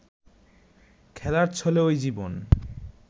খেলার ছলে ওই জীবন